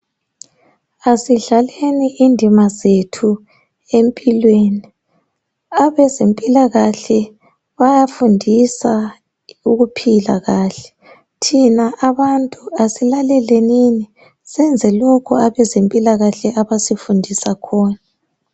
Asidlaleni indima zethu empilweni abezempilakahle bayafundisa ukuphila kahle thina abantu asilalelenini senze lokhu abezempilakahle abasifundisa khona .